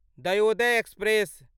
Dayodaya express